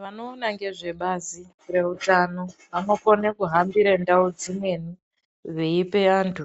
Vanoona nezvebazi rehutano vanokona kuhamba mundau dzimweni veipa vantu